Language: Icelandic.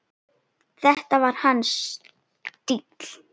Þetta var hans stíll.